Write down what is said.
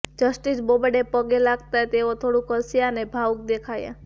justice Bobde પગે લાગતા તેઓ થોડુંક હસયા અને ભાવુક દેખાયા